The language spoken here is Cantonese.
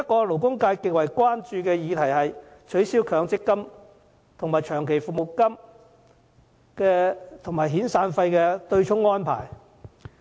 勞工界極為關注的另一議題是取消以強制性公積金供款對沖長期服務金及遣散費的安排。